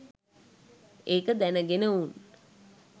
ඒක දැනගෙන උන්